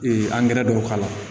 Ee angɛrɛ dɔw k'a la